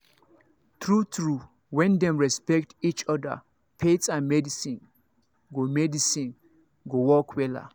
true true when dem respect each other faith and medicine go medicine go work wella